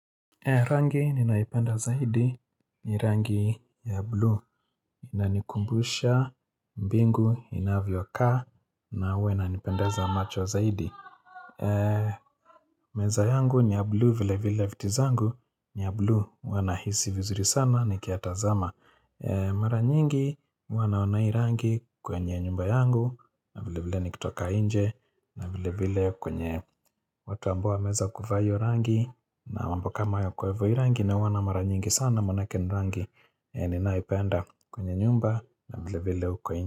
Rangi ninayoipenda zaidi ni rangi ya blue. Inanikumbusha mbingu, inavyokaa na huwa inanipendeza macho zaidi. Meza yangu ni ya blue vile vile viti zangu. Ni ya blue. Huwa nahisi vizuri sana nikiyatazama. Mara nyingi huwa naona hii rangi kwenye nyumba yangu. Vile vile nikitoka nje vile vile kwenye watu ambao wameweza kuvaa hio rangi. Na mambo kama hayo. Kwe hivo hii rangi naona mara nyingi sana manake ni rangi yenye ninaipenda kwenye nyumba na vile vile huko nje.